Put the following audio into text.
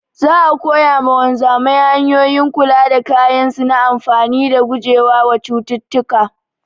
Za'a koya wa wanzamai hanyoyin kula da kayan su na amfani dan gujewa wa cututtuka